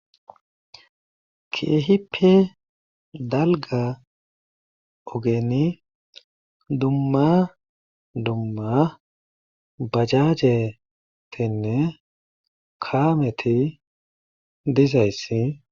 keehippe dalga ogeni dumma dumma bajajetinne kaameti dizayssi